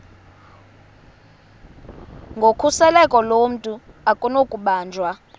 nokhuseleko lomntu akunakubanjwa